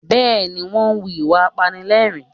Bẹ́ẹ̀ ni, wọ́n ń hu ìwà apanilẹ́rìn-ín